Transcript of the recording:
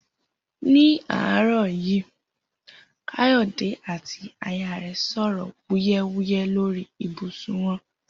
̃Ní àárò̩ yìí. Káyò̩dé àti aya rè̩ sò̩rò̩ wúyé̩wúyé̩ lórí ibùsùn wo̩n